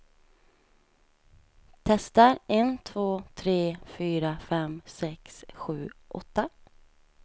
Testar en två tre fyra fem sex sju åtta.